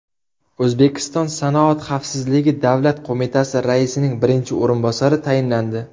O‘zbekiston Sanoat xavfsizligi davlat qo‘mitasi raisining birinchi o‘rinbosari tayinlandi.